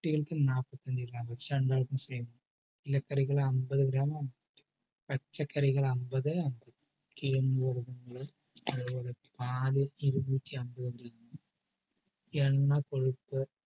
കുട്ടികൾക്ക് നാല്പത്തഞ്ചു gram വച്ചു രണ്ടാൾക്കും same. ഇലക്കറികൾ അമ്പത് gram പച്ചക്കറികൾ അമ്പത് കിഴങ്ങു വർഗങ്ങൾ അതുപോലെ പാല് ഇരുനൂറ്റി അമ്പത് milli എണ്ണ കൊഴുപ്പ്